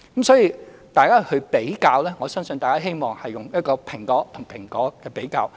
所以，大家作比較時，我希望大家是以"蘋果"和"蘋果"作比較。